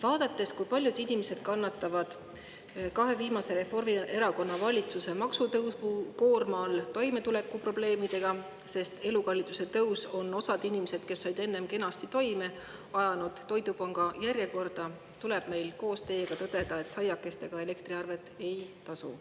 Vaadates, kui paljud inimesed kannatavad kahe viimase Reformierakonna valitsuse maksutõusukoorma all toimetulekuprobleemide käes, sest elukalliduse tõus on osa inimesi, kes said enne kenasti toime, ajanud toidupanga järjekorda, tuleb meil koos teiega tõdeda, et saiakestega elektriarvet ei tasu.